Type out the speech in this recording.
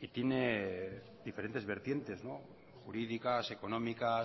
y tiene diferentes vertientes jurídicas económicas